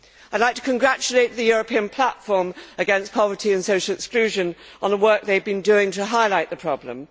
I would like to congratulate the European Platform against Poverty and Social Exclusion on the work they have been doing to highlight the problem.